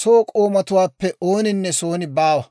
soo k'oomatuwaappe ooninne son baawa.